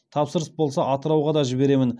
тапсырыс болса атырауға да жіберемін